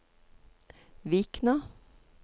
Vikna